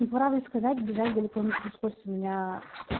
ну по правде сказать бежать далеко не пришлось у меня